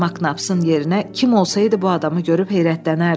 Maknapsın yerinə kim olsaydı bu adamı görüp heyrətlənərdi.